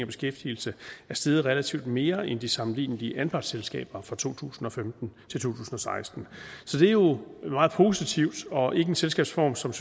beskæftigelse er steget relativt mere end de sammenlignelige anpartsselskaber fra to tusind og femten til to tusind og seksten så det er jo meget positivt og ikke en selskabsform som